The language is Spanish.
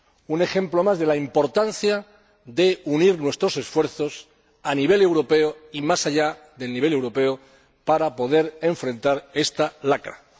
Un ejemplo más de la importancia de unir nuestros esfuerzos a nivel europeo, y más allá del nivel europeo, para poder afrontar esta lacra.